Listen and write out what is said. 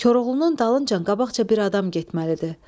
"Koroğlunun dalınca qabaqca bir adam getməlidir.